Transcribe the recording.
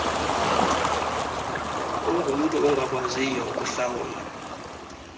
ungumntu ongakwaziyo ukuhlawula